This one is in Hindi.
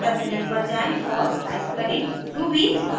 टर्मिनल पर जाएँ और टाइप करें